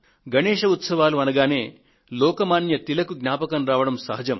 గణేశ్ ఉత్సవాలు అనగానే లోక్ మాన్య తిలక్ జ్ఞాపకం రావడం సహజం